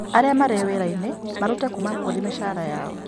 Arĩa marĩ wĩra-inĩ marute kuuma kũrĩ mĩcara yao